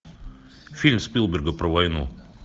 фильм спилберга про войну